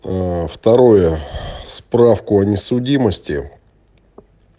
аа второе справку о несудимости